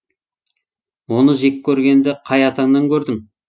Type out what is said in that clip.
оны жек көргенді қай атаңнан көрдің